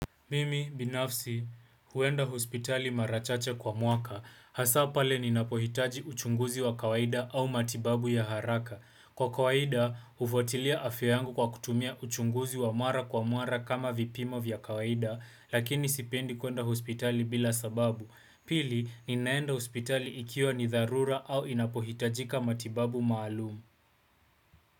Mimi, binafsi, huenda hospitali mara chache kwa mwaka. Hasa pale ninapohitaji uchunguzi wa kawaida au matibabu ya haraka. Kwa kawaida, hufuatilia afya yangu kwa kutumia uchunguzi wa mara kwa mara kama vipimo vya kawaida, lakini sipendi kuenda hospitali bila sababu. Pili, ninaenda hospitali ikiwa ni dharura au inapohitajika matibabu maalumu.